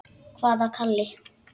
Hvaða Kalli?